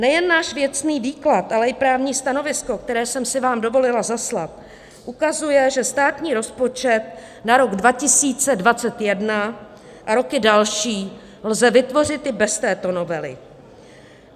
Nejen náš věcný výklad, ale i právní stanovisko, které jsem si vám dovolila zaslat, ukazuje, že státní rozpočet na rok 2021 a roky další lze vytvořit i bez této novely.